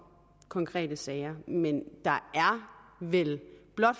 konkrete sager men der er vel